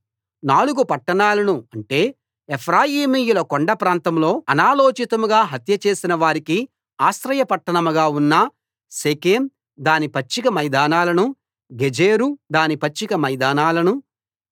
నాలుగు పట్టణాలను అంటే ఎఫ్రాయిమీయుల కొండ ప్రాంతంలో అనాలోచితంగా హత్యచేసిన వారికి ఆశ్రయ పట్టణంగా ఉన్న షెకెం దాని పచ్చిక మైదానాలనూ గెజెరు దాని పచ్చిక మైదానాలనూ